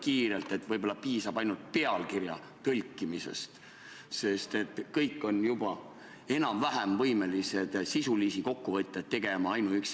Siis, viie aasta pärast võivad mitteinvaliidid ja invaliidid, kes juba rongis on, loota tasuta einet ja karastusjooki, kui rong näiteks tund aega hiljaks jääb.